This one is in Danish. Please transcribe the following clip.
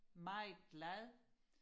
meget glad